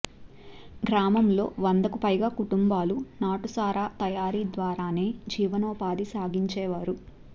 గ్రామంలో వందకు పైగా కుటుంబాలు నాటు సారా తయారీ ద్వారానే జీవనోపాధి సాగించేవారు